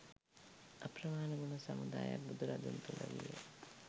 අප්‍රමාණ ගුණ සමුදායක් බුදුරදුන් තුළ විය.